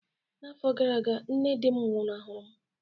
N'afọ gara aga, nne di m nwụnahụrụ m